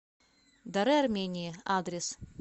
дары армении адрес